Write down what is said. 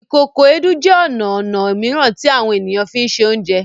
Ìkòkò Èédú jẹ ọna ọnà mìíràn ti àwọn ènìyàn mí fínṣe Oúnjẹ